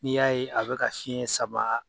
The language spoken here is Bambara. N'i y'a ye a bɛ ka fiɲɛ sama